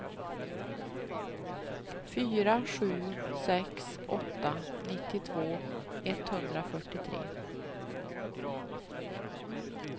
fyra sju sex åtta nittiotvå etthundrafyrtiotre